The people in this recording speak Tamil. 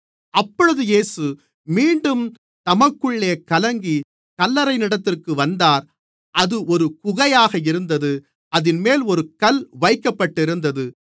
அப்பொழுது இயேசு மீண்டும் தமக்குள்ளே கலங்கிக் கல்லறையினிடத்திற்கு வந்தார் அது ஒரு குகையாக இருந்தது அதின்மேல் ஒரு கல் வைக்கப்பட்டிருந்தது